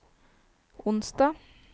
onsdag